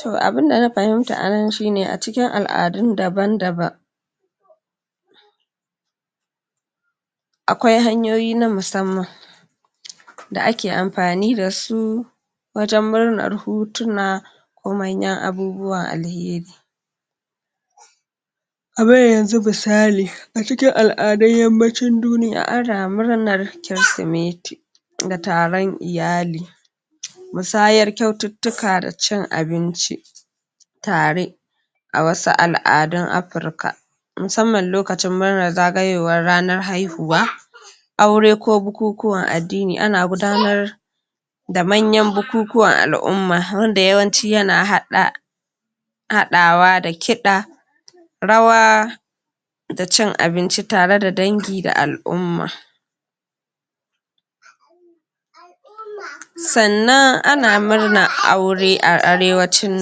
to abunda na fihimta anan shine a cikin al'adun daban-daban akwai hanyoyi na musamman da ake amfani dasu wajen muranar hutuna ko manyan abubuwan alheri. kamar yanzu misali a cikin al'adun yammacin duniya ana muranar kirsimeti da taron iyali musayar kyaututtuka da cin abinci tare a wasu al'adun afrika musamman lokacin murnan zagayowar ranar haihuwa aure ko bukukuwan addini ana gudanar da manyan bukukuwan al'umma wanda yawanci yana haɗa haɗwa da kiɗa rawa da cin abinci tareda dangi da al'umma. sannan ana murnar aure a arewacin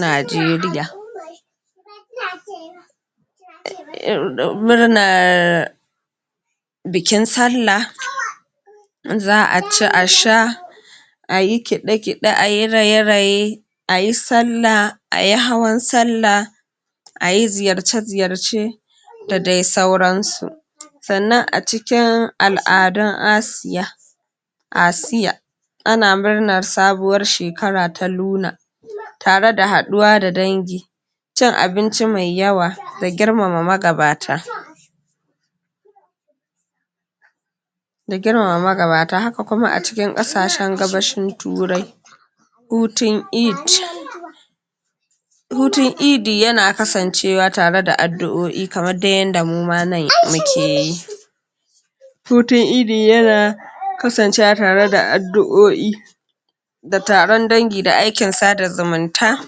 najeriya murnar bikin salla za'a ci a sha ayi kiɗe-kiɗe ayi raye-raye ayi sallah ayi hawan sakka ayi ziyarce-ziyarce da dai sauransu. sannan a cikin al'adun Asiya Asiya ana murnar sabuwar shekara ta luna tare da haɗuwa da dangi cin abinci mai yawa da girmama magabata. ga girmama magabata haka kuma a cikin ƙasashen gabashin turai hutun Eid hutun idi yana kasancewa tareda adduo'i kamardai yadda muma nan mukeyi hutun idi yana kasancewa tare da addu'o'i da tarion dangi da aikin sada zumunta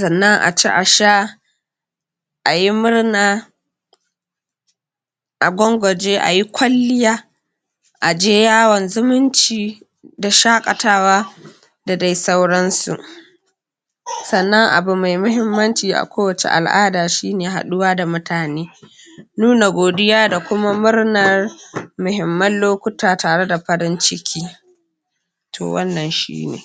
sannan a ci a sha ayi murna a gwangwaje ayi kwalliya aje yawon zumunci da shaƙatawa da dai sauransu. sannan abu mai muhimmanci a kowace al'ada shine haɗuwa da mutane nuna godiya da kuma murnar muhimman lokuta tareda farin ciki to wannan shine.